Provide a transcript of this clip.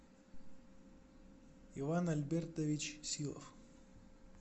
иван альбертович силов